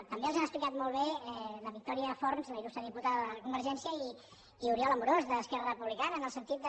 també els han explicat molt bé la vitòria forns la il·lustre diputada de convergència i oriol amorós d’esquerra republicana en el sentit de